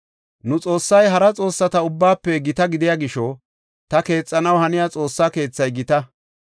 “Nu Xoossay hara xoossata ubbaafe gita gidiya gisho, ta keexanaw haniya Xoossaa Keethay gita.